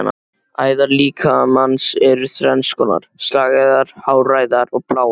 Æðar líkamans eru þrenns konar: slagæðar, háræðar og bláæðar.